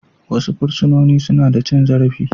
Wasu fursunoni suna da cin zarafi